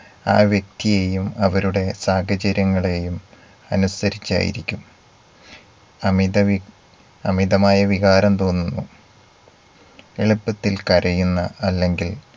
ആ വ്യക്തിയെയും അവരുടെ സാഹചര്യങ്ങളെയും അനുസരിച്ചായിരിക്കും. അമിതവി അമിതമായ വികാരം തോന്നുന്നു എളുപ്പത്തിൽ കരയുന്ന അല്ലെങ്കിൽ